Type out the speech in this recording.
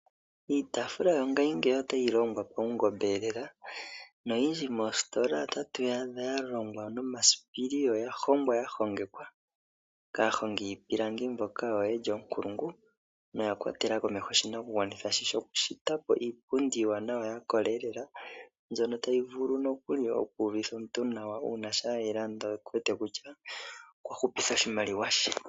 Iitaafula yongashingeyi otayi longwa paungomba lela. Noyindji moositola otatu yi adha ya longwa nomasipili noya hongwa ya hongekeka kaahongi yiipilangi mbono ye li oonkulungu noya kwatela komeho oshinakugwanithwa shokunduluka po iipundi iiwanawa ya kola lela, mbyono tayi vulu nokuli oku uvitha omuntu nawa shampa e yi landa oku uvite kutya okwa hupitha oshimaliwa she.